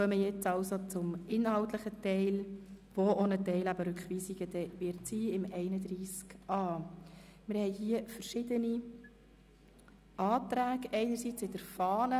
Nun kommen wir zum inhaltlichen Teil der Diskussion zu Artikel 31a, der auch die Diskussion über die einzelnen Rückweisungsanträge beinhaltet.